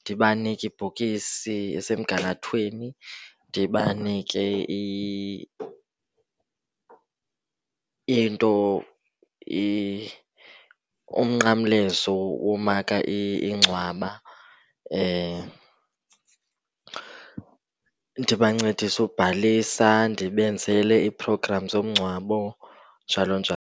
Ndibanike ibhokisi esemgangathweni, ndibanike into, umnqamlezo womaka ingcwaba. Ndibancedise ukubhalisa, ndibenzele ii-programs zomngcwabo, njalo njalo.